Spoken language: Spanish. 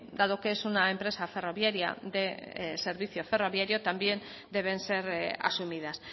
dado que es una empresa ferroviaria de servicio ferroviario también deben ser asumidas